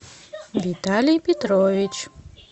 виталий петрович